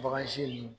ninnu